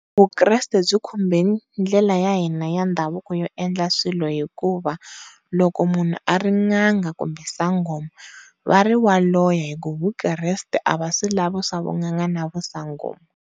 Vukreste byi khombeni ndlela ya hina ya ndhavuko yo endla swilo hikuva loko munhu a ri n'anga kumbe sangoma va ri wa loya vukreste a va swi lavi swa vun'anga na vu sangoma.